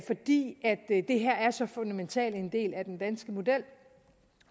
fordi det her er så fundamental en del af den danske model